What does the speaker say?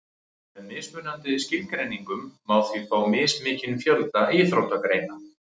með mismunandi skilgreiningum má því fá mismikinn fjölda íþróttagreina